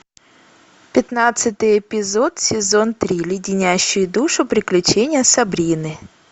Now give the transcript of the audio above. пятнадцатый эпизод сезон три леденящие душу приключения сабрины